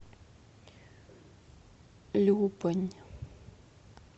любань